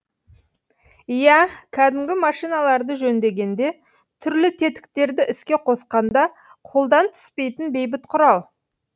иә кәдімгі машиналарды жөндегенде түрлі тетіктерді іске қосқанда қолдан түспейтін бейбіт құрал